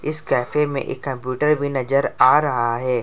इस कैफे में एक कंप्यूटर भी भी नजर आ रहा है।